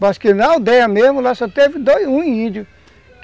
Mas que na aldeia mesmo, lá só teve dois, um índio.